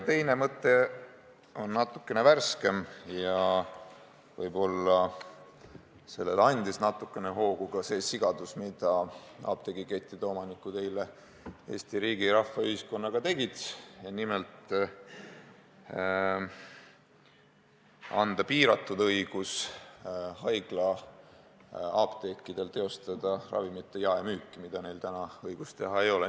Teine mõte on natukene värskem – võib-olla andis sellele natukene hoogu ka see sigadus, mida apteegikettide omanikud eile Eesti riigi, rahva ja ühiskonnaga tegid –, nimelt, anda piiratud õigus haiglaapteekidel teostada ravimite jaemüüki, milleks neil praegu õigust ei ole.